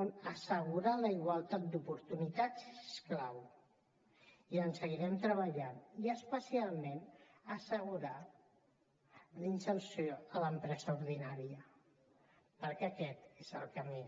on assegurar la igualtat d’oportunitats és clau i hi seguirem treballant especialment en assegurar la inserció a l’empresa ordinària perquè aquest és el camí